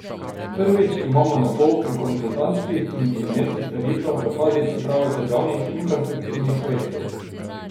Prvič, ima monopol pri konzultantskih in inženirskih storitvah v fazi priprave državnih infrastrukturnih projektov.